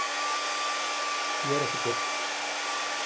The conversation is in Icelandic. Ég er ekki til.